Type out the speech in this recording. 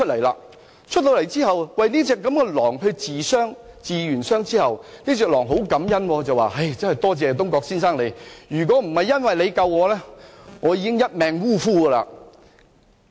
狼跳出來之後，東郭先生替牠療傷，狼十分感恩，並說："我真的感謝你，如果不是你救了我，我便一命嗚呼了。